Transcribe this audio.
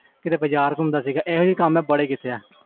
ਕੀਤੇ ਬਜ਼ਾਰ ਘੁੰਮ ਆਣਾ